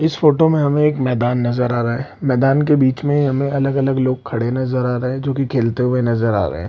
इस फ़ोटो मे हमे एक मैदान नजर आ रहा है मैदान के बीच मे हमे अलग-अलग लोग खड़े नजर आ रहे है जो की खेलते हुए नजर आ रहे है।